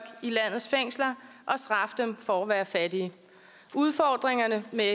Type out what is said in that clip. i landets fængsler og straffe dem for at være fattige udfordringerne med